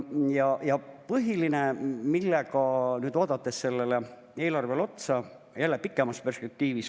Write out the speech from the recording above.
Ja nüüd põhiline, vaadates sellele eelarvele otsa jälle pikemas perspektiivis.